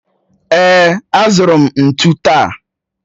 Èè, azụrụ m ntụ taa